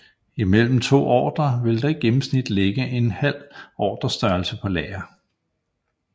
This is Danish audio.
I mellem to ordrer vil der i gennemsnit ligge en halv ordrestørrelse på lager